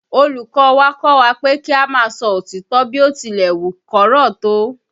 Olùkọ́ ọ wa kọ́ wa pé kí a máa sọ òtítọ́ bí ó tilẹ̀ wù kó korò tó